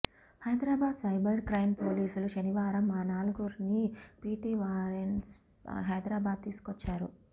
Hyderabad cyber crime పోలీసులు శనివారం ఆ నలుగురిని పీటీ వారెంట్పై హైదరాబాద్ తీసుకొచ్చారు